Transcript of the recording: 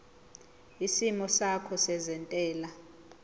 isimo sakho sezentela